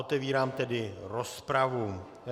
Otevírám tedy rozpravu.